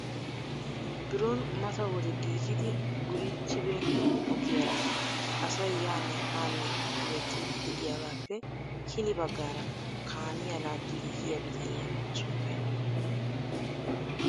Biron mata wode giigidi wurichchi beena ogiyaara asay yaanne haanne hemmettiidi de'iyaagappe hini baggaara kaamiya laaggiidi yiiyya bityaniya sunttay oonee?